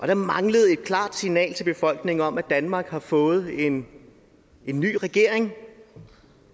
der manglede et klart signal til befolkningen om at danmark har fået en ny regering